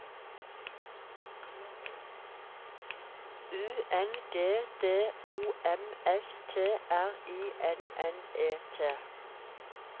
U N G D O M S T R I N N E T